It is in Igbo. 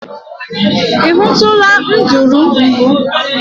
I hụtụla nduru mbụ?